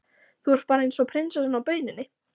Þú ert bara eins og prinsessan á bauninni!